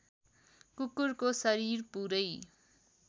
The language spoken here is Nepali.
कुकुरको शरीर पुरै